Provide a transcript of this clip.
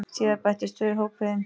Síðar bættust tvö í hópinn.